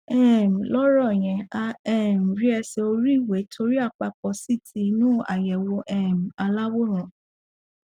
um lọrọ yẹn a um rí ẹṣẹ oríiwe torí àpapọ ct inú àyẹwò um aláwòrán